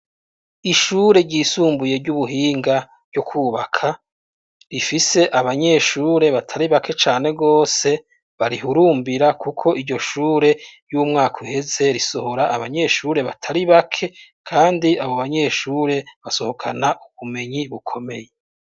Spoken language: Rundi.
Ishure ryisumbuye ry'ubuhinga ryo kwubaka, rifise abanyeshure batari bake cane gose barihurumbira kuko iryo shure iy'umwaka uheze risohora abanyeshure batari bake kandi abo banyeshure basohokana ubumenyi bukomeye.